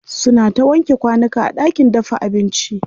Suna ta wanke kwanuka a ɗakin dafa abinci.